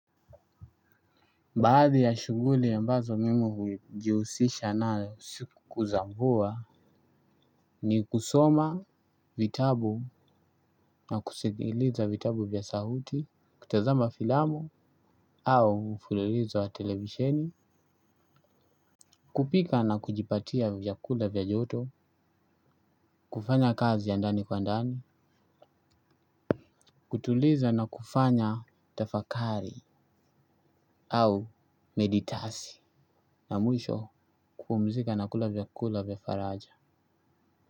Baadhi ya shughuli ambazo mimi hujihusisha nayo siku za mvua ni kusoma vitabu na kusigiliza vitabu vya sahuti, kutazama filamu au mfulilizo wa televisheni, kupika na kujipatia vyakula vya joto, kufanya kazi ya ndani kwa ndani, kutuliza na kufanya tafakari au meditasi na mwisho kupumzika na kula vyakula vya faraja.